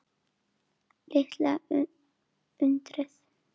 Litla undrið.